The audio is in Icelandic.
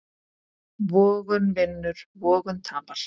Vogun vinnur, vogun tapar.